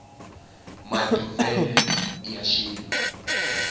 maduvhelo ya swilo